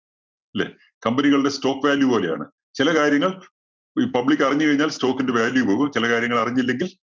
അല്ലേ? company കളുടെ stock value പോലെയാണ്. ചില കാര്യങ്ങൾ ഈ public അറിഞ്ഞ് കഴിഞ്ഞാൽ stock ന്റെ value പോകും. ചില കാര്യങ്ങൾ അറിഞ്ഞില്ലെങ്കിൽ